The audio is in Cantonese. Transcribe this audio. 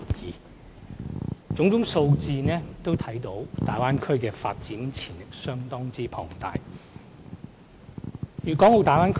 從種種數字可見，大灣區的發展潛力相當龐大。